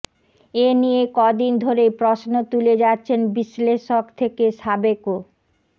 এ নিয়ে কদিন ধরেই প্রশ্ন তুলে যাচ্ছেন বিশ্লেষক থেকে সাবেক ও